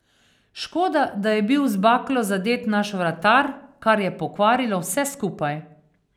Škoda, da je bil z baklo zadet naš vratar, kar je pokvarilo vse skupaj.